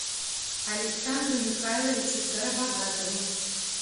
александру михайловичу скоробогатову